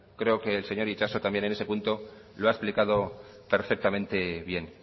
creo que el seño itxaso también en ese punto lo ha explicado perfectamente bien